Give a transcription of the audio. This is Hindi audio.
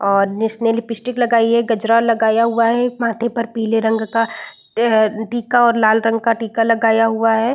और नीस ने लिपस्टिक लगाई है गजरा लगाया हुआ है। माथे पर पिले रंग का एह टीका और लाल रंग का टीका लगाया हुआ है।